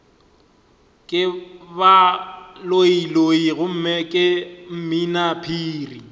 ke baloiloi gomme ke mminaphiri